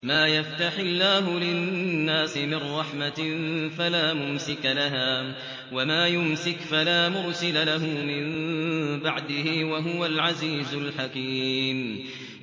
مَّا يَفْتَحِ اللَّهُ لِلنَّاسِ مِن رَّحْمَةٍ فَلَا مُمْسِكَ لَهَا ۖ وَمَا يُمْسِكْ فَلَا مُرْسِلَ لَهُ مِن بَعْدِهِ ۚ وَهُوَ الْعَزِيزُ الْحَكِيمُ